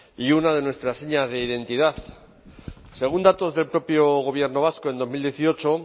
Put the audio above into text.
y una de nuestras señas de identidad según datos del propio gobierno vasco en dos mil dieciocho